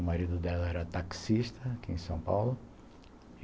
O marido dela era taxista aqui em São Paulo.